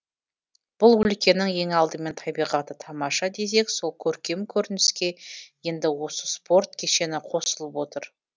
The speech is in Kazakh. бұл өлкенің ең алдымен табиғаты тамаша десек сол көркем көрініске енді осы спорт кешені қосылып отыр